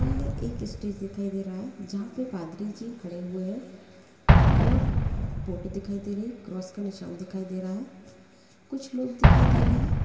सामने एक स्टेज दिखाई दे रहा है जहाँ पे पादरी जी खड़े हुए है और फ़ोटो दिखाई दे रही है क्रॉस का निशान दिखाई दे रहा है कुछ लोग दिखाई दे रहे है।